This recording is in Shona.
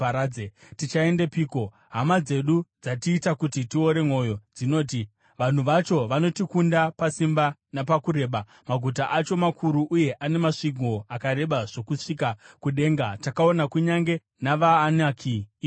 Tichaendepiko? Hama dzedu dzatiita kuti tiore mwoyo. Dzinoti, ‘Vanhu vacho vanotikunda pasimba napakureba; maguta acho makuru uye ane masvingo akareba zvokusvika kudenga. Takaona kunyange navaAnaki ikoko.’ ”